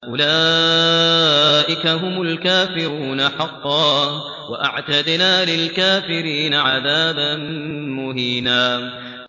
أُولَٰئِكَ هُمُ الْكَافِرُونَ حَقًّا ۚ وَأَعْتَدْنَا لِلْكَافِرِينَ عَذَابًا مُّهِينًا